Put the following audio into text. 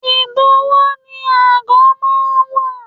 Igbowo ni ago máa ń wà.